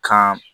Kan